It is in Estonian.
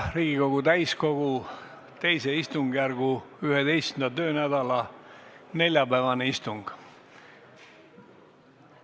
Riigikogu täiskogu II istungjärgu 11. töönädala neljapäevane istung.